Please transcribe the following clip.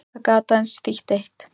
Það gat aðeins þýtt eitt.